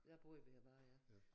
Der boede vi her bare ja